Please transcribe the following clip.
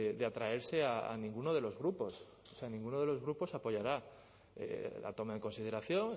de atraerse a ninguno de los grupos o sea ninguno de los grupos apoyará la toma en consideración